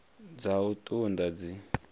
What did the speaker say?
dza u ṱun ḓa dzi